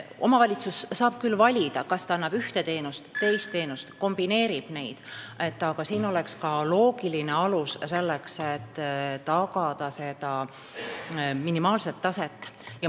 Omavalitsus saab küll valida, kas ta pakub ühte või teist teenust või kombineerib neid, aga siin peaks olema ka loogiline alus, selleks et minimaalset taset tagada.